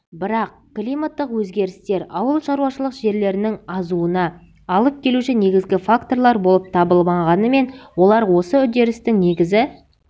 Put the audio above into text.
бірақ климаттық өзгерістер ауылшаруашылық жерлерінің азуына алып келуші негізгі факторлар болып табылмағанымен олар осы үдерістің негізі